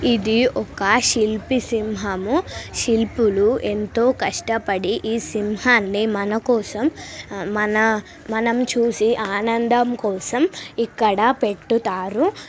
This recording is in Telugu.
ఇది ఒక శిల్పి సింహము శిల్పులు ఎంతో కష్టపడి సింహముని ఈ మనకోసం మన మనం చూసి ఆనందం కోసం ఇక్కడ పెట్టుతారు.